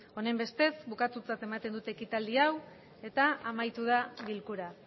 honenbestez bukatutzat ematen dut ekitaldi hau eta amaitu da bilkura